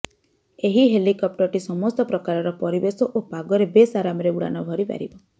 ଏହି ହେଲିକପ୍ଟରଟି ସମସ୍ତ ପ୍ରକାରର ପରିବେଶ ଓ ପାଗରେ ବେଶ ଆରାମରେ ଉଡ଼ାଣ ଭରି ପାରିବ